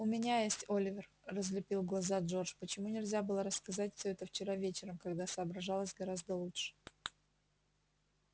у меня есть оливер разлепил глаза джордж почему нельзя было рассказать все это вчера вечером когда соображалось гораздо лучше